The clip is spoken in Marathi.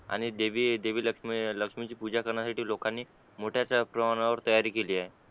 आणि देवी देवी लक्ष्मी लक्ष्मी ची पूजा करण्यासाठी लोकांनी मोठ्याशा तयारी केली ए